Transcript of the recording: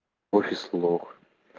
офис лох